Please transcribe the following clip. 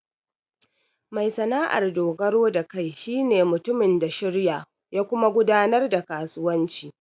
Mai sana'ar dogaro da kai shi ne mutumin da shirya ya kuma gudanar da kasuwanci.